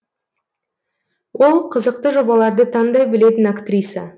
ол қызықты жобаларды таңдай білетін актриса